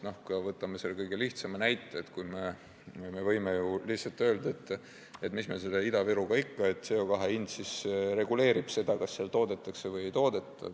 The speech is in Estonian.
Võtame kas või kõige lihtsama näite, et me võime ju lihtsalt öelda, et mis me selle Ida-Virumaaga ikka jändame, CO2 hind reguleerib seda, kas seal toodetakse või ei toodeta.